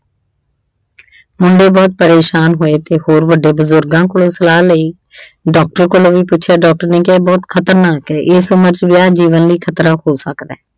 ਮੁੰਡੇ ਬਹੁਤ ਪਰੇਸ਼ਾਨ ਹੋਏ ਅਤੇ ਹੋਰ ਵੱਡੇ ਬਜ਼ੁਰਗਾਂ ਕੋਲੋ ਸਲਾਹ ਲਈ। ਡਾਕਟਰ ਕੋਲੋ ਵੀ ਪੁੱਛਿਆ doctor ਨੇ ਕਿਹਾ ਇਹ ਬਹੁਤ ਖਤਰਨਾਕ ਏ ਏਸ ਉਮਰ ਚ ਵਿਆਹ ਜੀਵਨ ਲਈ ਖਤਰਾ ਹੋ ਸਕਦਾ।